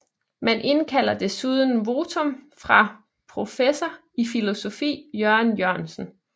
Man indkaldte desuden votum fra professor i filosofi Jørgen Jørgensen